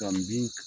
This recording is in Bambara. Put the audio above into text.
Ka bin